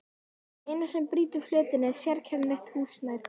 Það eina sem brýtur fletina er sérkennilegt hús nær þeim.